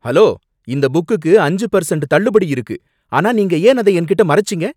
Hello! இந்த புக்குக்கு அஞ்சு பெர்சண்ட் தள்ளுபடி இருக்கு, ஆனா நீங்க ஏன் அத என்கிட்ட மறைச்சீங்க?